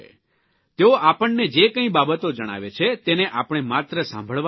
તેઓ આપણને જે કંઇ બાબતો જણાવે છે તેને આપણે માત્ર સાંભળવાની જ નથી